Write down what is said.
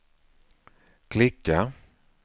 klicka